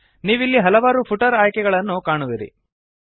ನೀವಿಲ್ಲಿ ಹಲವಾರು ಫುಟರ್ ಆಯ್ಕೆಗಳನ್ನು ಕಾಣುವಿರಿ